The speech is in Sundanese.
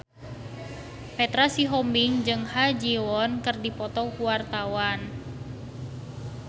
Petra Sihombing jeung Ha Ji Won keur dipoto ku wartawan